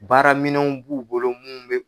Baaraminɛnw b'u bolo mun bɛ